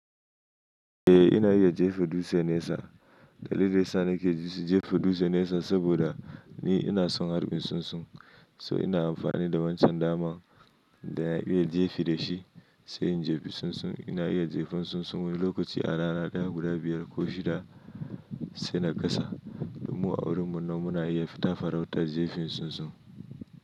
Eh ina iya jefa dutse nesa. Dalilin sa nake jefa dutse nesa saboda ni ina son harbin tsuntsun. So ina amfani da wancan daman da ina iya jefa da shi, sai in jefa tsuntsun. Ina iya jefin tsuntsun wani lokaci a rana ɗaya guda biyar ko shida sai na kasa. Din mu a wurin mu nan muna iya fita farautar jefin tsuntsun.